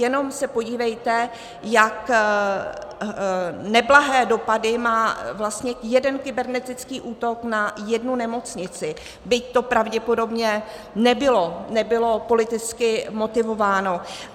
Jenom se podívejte, jak neblahé dopady má vlastně jeden kybernetický útok na jednu nemocnici, byť to pravděpodobně nebylo politicky motivováno.